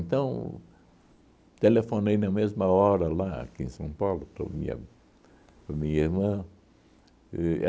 Então, telefonei na mesma hora lá, aqui em São Paulo, para minha para minha irmã. E